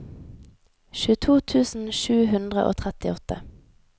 tjueto tusen sju hundre og trettiåtte